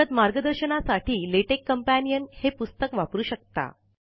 प्रगत मार्गदर्शनासाठी LaTeX companion हे पुस्तक वापरू शकता